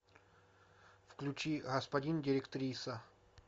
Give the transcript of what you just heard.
включи господин директриса